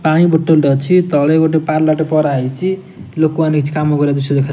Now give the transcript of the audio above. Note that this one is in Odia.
ପାଣି ବୋଟଲ ଟେ ଅଛି। ତଳେ ଗୋଟେ ପାଲ ଟେ ପରା ହେଇଛି। ଲୋକ ମାନେ କିଛି କାମ କରିବାର ଦୃଶ୍ୟ ଦେଖା --